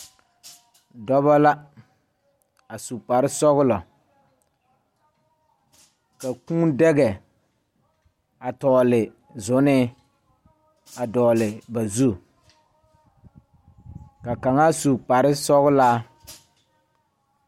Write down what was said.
Dɔbɔ la a su kparesɔglɔ ka kūū daga a tɔgle zunee a dɔgle ba zu ka kaŋa su kpare sɔglaa.